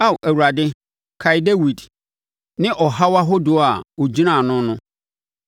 Ao Awurade kae Dawid ne ɔhaw ahodoɔ a ɔgyinaa ano no.